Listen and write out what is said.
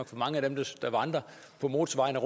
for mange af dem der vandrer på motorvejene